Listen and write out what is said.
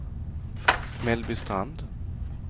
Mellbystrand